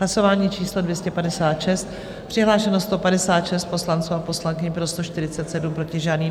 Hlasování číslo 256, přihlášeno 156 poslanců a poslankyň, pro 147, proti žádný.